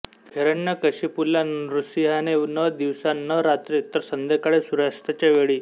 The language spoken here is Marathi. हिरण्यकशिपूला नृसिंहाने न दिवसा न रात्री तर संध्याकाळी सूर्यास्ताच्या वेळी